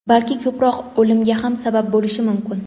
balki ko‘proq o‘limga ham sabab bo‘lishi mumkin.